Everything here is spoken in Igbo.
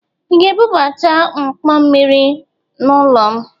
Ị ga-ebubata mkpọ mmiri m n'ụlọ?